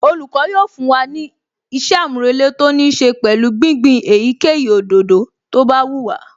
Olùkọ́ yóò fún wa ní ìṣe-àmúrelé tó níí ṣe pẹ̀lú gbígbin èyíkéyìí òdòdó tó bá wù wá